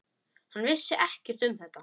Hann vissi ekkert um þetta.